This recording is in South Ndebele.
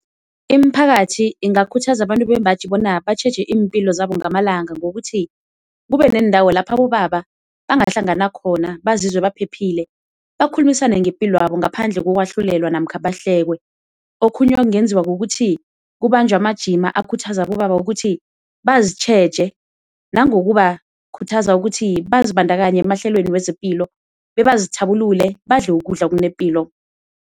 Imiphakathi ingakhuthaza abantu bembaji bona batjheje iimpilo zabo ngamalanga ngokuthi kube neendawo lapha abobaba bangahlangana khona bazizwe baphephile bakhulumisane ngepilo yabo ngaphandle kokwahlulelwa namkhana bahlekwe. Okhunye ekungenziwa kukuthi kubanjwe amajima akhuthaza abobaba ukuthi bazitjheje nangokubakhuthaza ukuthi bazibandakanye emahlelweni wezepilo bebazithabulule, badle ukudla okunepilo.